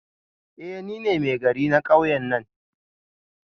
Eh nine Maigari na kauyen nan